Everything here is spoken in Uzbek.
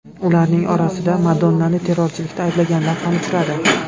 Ularning orasida Madonnani terrorchilikda ayblaganlar ham uchradi.